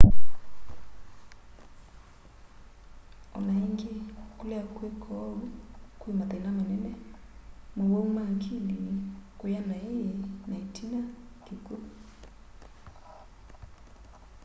o na ĩngĩ kũlea kwĩka ou kwĩ mathĩna manene maũwau ma akili kũya naĩ na ĩtina kĩkw'u